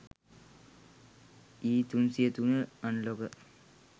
e303 unlocker